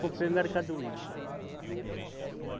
Comprei mercadoria.